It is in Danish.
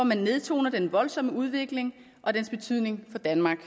man nedtoner den voldsomme udvikling og dens betydning for danmark